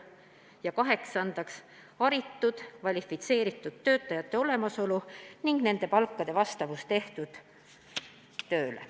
Ja kaheksandaks, haritud, kvalifitseeritud töötajate olemasolu ning nende palkade vastavus tehtud tööle.